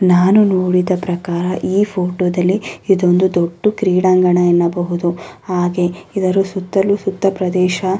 ನಾನು ನೋಡಿದ ಪ್ರಕಾರ ಈ ಫೋಟೋ ದಲ್ಲಿ ಇದೊಂದು ದೊಡ್ಡ ಕ್ರೀಡಾಂಗಣ ಅನ್ನಬಹುದು. ಹಾಗೆ ಇದರ ಸುತ್ತ ಸುತ್ತಲೂ ಪ್ರದೇಶ --